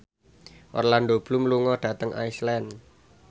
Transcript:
Orlando Bloom lunga dhateng Iceland